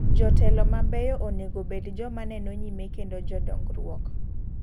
Jotelo mabeyo onego bed joma neno nyime kendo jo dongruok.